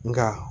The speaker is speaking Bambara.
Nka